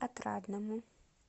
отрадному